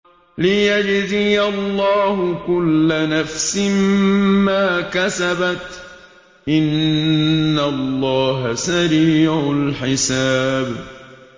لِيَجْزِيَ اللَّهُ كُلَّ نَفْسٍ مَّا كَسَبَتْ ۚ إِنَّ اللَّهَ سَرِيعُ الْحِسَابِ